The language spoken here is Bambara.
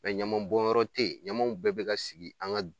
ɲamanbɔnyɔrɔ te ye, ɲamanw bɛɛ bɛ ka sigi an ŋa